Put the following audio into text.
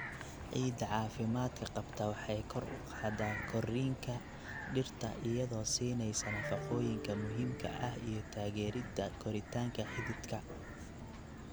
Ciidda caafimaadka qabta waxay kor u qaadaa korriinka dhirta iyadoo siinaya nafaqooyinka muhiimka ah iyo taageeridda koritaanka xididka.